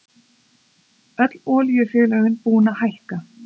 Öll olíufélögin búin að hækka